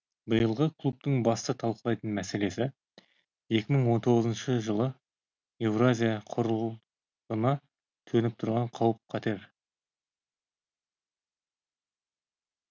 биылғы клубтың басты талқылайтын мәселесі екі мың он тоғызыншы жылы еуразия құрылғына төніп тұрған қауіп қатер